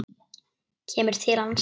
Kemur til hans.